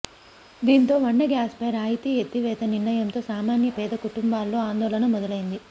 దీం తో వంట గ్యాస్పై రాయితీ ఎత్తివేత నిర్ణయంతో సామాన్య పేద కుటుంబాల్లో ఆందోళన మొదలైంది